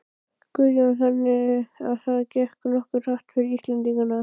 Guðjón: Þannig að það gekk nokkuð hratt fyrir Íslendingana?